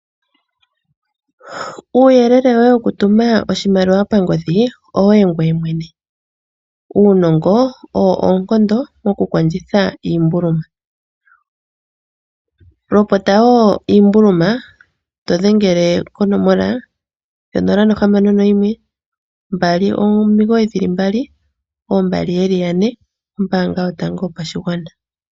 Uuyelele woye woku tuma oshimaliwa pangodhi, owoye ngoye mwene. Uunongo owo oonkondo moku kondjitha iimbuluma. Lopota wo iimbuluma to dhengele konomola 0612992222 ombaanga yotango yopashigwana.